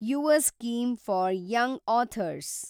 Yuva scheme for young author's